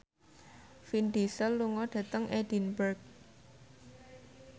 Vin Diesel lunga dhateng Edinburgh